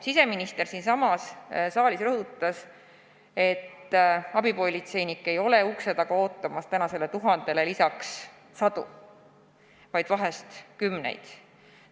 Siseminister siinsamas saalis rõhutas, et abipolitseinikke ei ole ukse taga ootamas tänasele tuhandele lisaks sadu, vaid pigem kümneid.